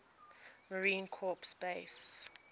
marine corps base